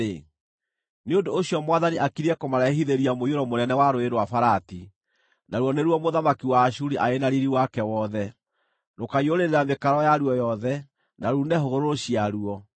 nĩ ũndũ ũcio Mwathani akiriĩ kũmarehithĩria mũiyũro mũnene wa Rũũĩ rwa Farati, naruo nĩruo mũthamaki wa Ashuri arĩ na riiri wake wothe. Rũkaaiyũrĩrĩra mĩkaro yaruo yothe, na ruune hũgũrũrũ ciaruo,